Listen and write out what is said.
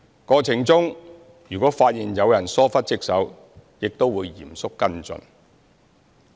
過程中如果發現有人疏忽職守，亦會嚴肅跟進。